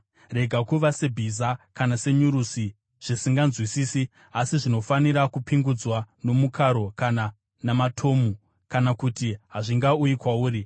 Rega kuva sebhiza kana senyurusi, zvisinganzwisisi asi zvinofanira kupingudzwa nomukaro kana namatomu, kana kuti hazvingauyi kwauri.